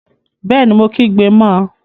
Bẹẹni, Mo kígbe mọ